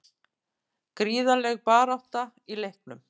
Gríðarleg barátta í leiknum